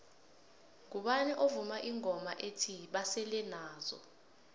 mgubani ovuma ingoma ethi basele nazo